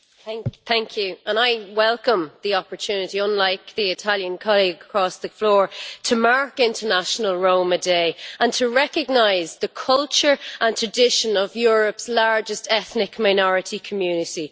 Madam President, I welcome the opportunity, unlike my Italian colleague across the floor, to mark International Roma Day and to recognise the culture and tradition of Europe's largest ethnic minority community.